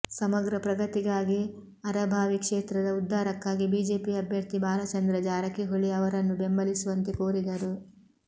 ಸಮಗ್ರ ಪ್ರಗತಿಗಾಗಿ ಅರಭಾವಿ ಕ್ಷೇತ್ರದ ಉದ್ದಾರಕ್ಕಾಗಿ ಬಿಜೆಪಿ ಅಭ್ಯರ್ಥಿ ಬಾಲಚಂದ್ರ ಜಾರಕಿಹೊಳಿ ಅವರನ್ನು ಬೆಂಬಲಿಸುವಂತೆ ಕೋರಿದರು